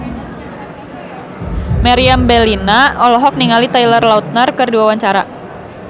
Meriam Bellina olohok ningali Taylor Lautner keur diwawancara